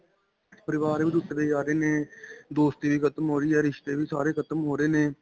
ਪਰਿਵਾਰ ਵੀ ਟੁਟਦੇ ਜਾ ਰਹੇ ਨੇ, ਦੋਸਤੀ ਵੀ ਖਤਮ ਹੋ ਰਹੀ ਹੈ ਰਿਸਤੇ ਵੀ ਸਾਰੇ ਖਤਮ ਹੋ ਰਹੇ ਨੇ.